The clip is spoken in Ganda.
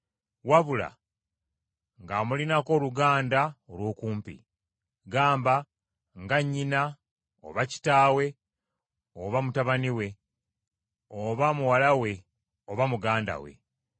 wabula ng’amulinako oluganda olw’okumpi. Gamba nga nnyina, oba kitaawe, oba mutabani we, oba muwala we, oba muganda we,